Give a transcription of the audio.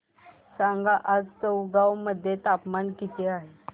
सांगा आज चौगाव मध्ये तापमान किता आहे